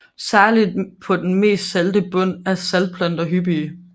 Særlig på den mest salte bund er saftplanter hyppige